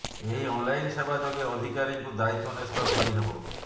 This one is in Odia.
ଏହି ଅନ୍ଲାଇନ ସେବା ଯୋଗେ ଅଧିକାରୀଙ୍କୁ ଦାୟିତ୍ୱ ନ୍ୟସ୍ତ କରିହେବ